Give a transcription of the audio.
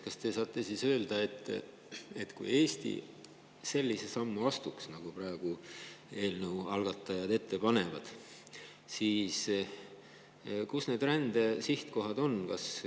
Kui Eesti astuks sellise sammu, nagu eelnõu algatajad praegu ette panevad, siis millised need rände sihtkohad oleks?